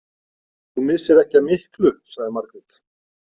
Þú missir ekki af miklu, sagði Margrét.